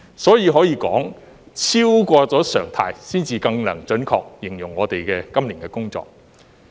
所以，可以說超過常態，才能更準確形容我們今年的工作。